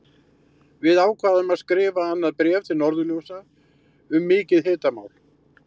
Við ákváðum að skrifa annað bréf til Norðurljósa um mikið hitamál!